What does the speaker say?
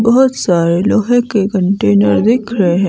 बहोत सारे लोहे के कंटेनर दिख रहे--